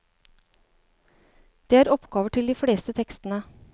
Det er oppgaver til de fleste tekstene.